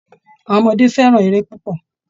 Àwọn ọmọdé fẹ́ràn eré púpọ̀